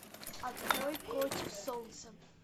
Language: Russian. открой против солнца